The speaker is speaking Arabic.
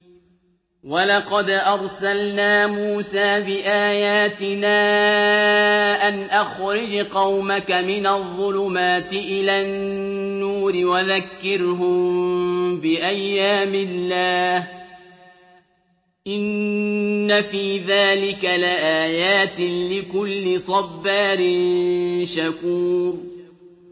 وَلَقَدْ أَرْسَلْنَا مُوسَىٰ بِآيَاتِنَا أَنْ أَخْرِجْ قَوْمَكَ مِنَ الظُّلُمَاتِ إِلَى النُّورِ وَذَكِّرْهُم بِأَيَّامِ اللَّهِ ۚ إِنَّ فِي ذَٰلِكَ لَآيَاتٍ لِّكُلِّ صَبَّارٍ شَكُورٍ